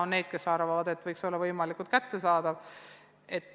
On neid, kes arvavad, et see võiks olla võimalikult kättesaadav.